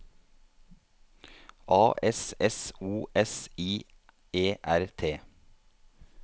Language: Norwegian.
A S S O S I E R T